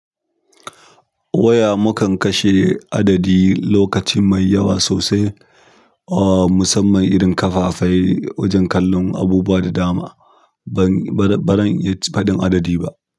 Waya mukan kashe adadi lokaci mai yawa sosai, oh musamman idan kafafai wajen kallon abubuwa da dama ban, bazan ba zan iya faɗin adadi ba.